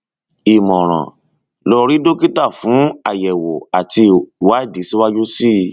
ìmọràn lọ rí dókítà fún àyẹwò àti ìwádìí síwájú sí i